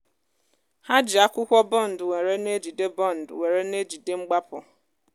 há ji akwụkwọ bund wèré nejide bund wèré nejide mgbápu